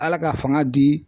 Ala ka fanga di